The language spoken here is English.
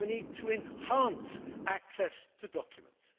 We need to enhance access to documents.